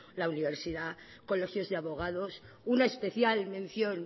la universidad colegios de abogados una especial mención